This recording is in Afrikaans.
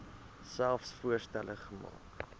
selfs voorstelle maak